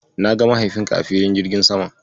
Na ga mahaifinka a filin jirgin saman.